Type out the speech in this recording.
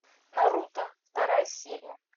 наруто вторая серия